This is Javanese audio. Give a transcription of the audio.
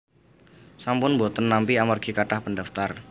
sampun mboten nampi amargi kathah pendaftar